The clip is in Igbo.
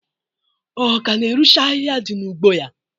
Ọ ka na-erucha ahihia dị n'ugbo ya?